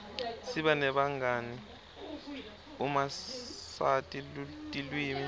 siba nebangani uma sati tilwimi